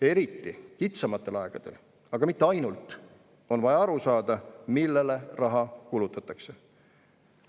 Eriti kitsamatel aegadel, aga mitte ainult, on vaja aru saada, millele raha kulutatakse.